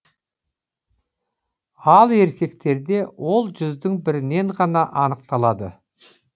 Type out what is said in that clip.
ал еркектерде ол жүздің бірінен ғана анықталады